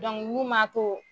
n'u man to